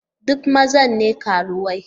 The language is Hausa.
Duk maza ne karuwai?